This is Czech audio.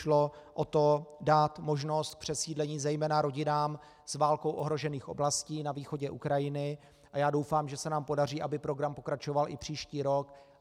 Šlo o to dát možnost přesídlení zejména rodinám z válkou ohrožených oblastí na východě Ukrajiny a já doufám, že se nám podaří, aby program pokračoval i příští rok.